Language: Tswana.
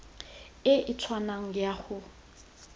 e e tshwanang ya go